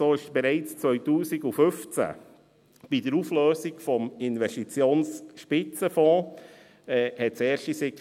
So gab es bereits 2015 bei der Auflösung des Investitionsspitzenfonds erste Signale.